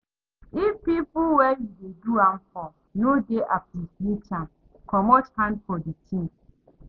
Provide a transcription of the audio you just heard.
If pipo wey you de do am for no de appreciate am, comot hand for di thing